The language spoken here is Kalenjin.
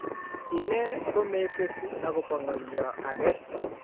ine ko mesesi akobo ngalyo age